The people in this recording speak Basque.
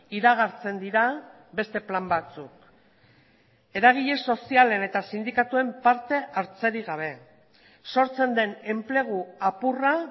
iragartzen dira beste plan batzuk eragile sozialen eta sindikatuen partehartzerik gabe sortzen den enplegu apurra